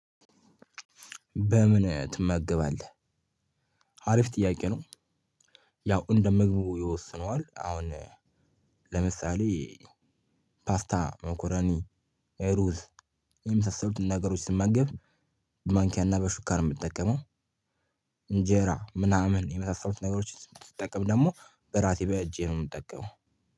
በምንህ ትመገባለህ አሪፍ ጥያቄ ነው። ያው እንደ ምግቡ ይወስነዋል አሁን ለምሳሌ ፓስታ መኮረኒ ሩዝ የመሳሰሉትን ነገሮች ስመገብ በማንኪያና በሹካ የምጠቀመው። እንጀራ ምናምን የመሳሰሉት ነገሮች ስጠቀም ደግሞ በራሴ በእጄ ነው የምጠቀመው።